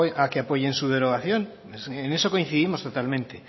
a que apoyen su derogación en eso coincidimos totalmente